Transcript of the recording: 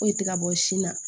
Foyi tɛ ka bɔ sin na